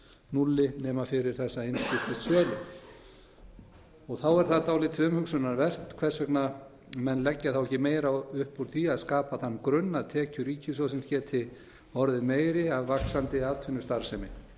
núlli nema fyrir þessa einskiptis xxxx þá er það dálítið umhugsunarvert hvers vegna menn leggja þá ekki meira upp úr því að skapa þann grunn að tekjur ríkissjóðsins geti orðið meiri að vaxandi atvinnustarfsemi